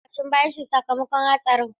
Garba ya karya ƙashin bayansa daga hatsarin.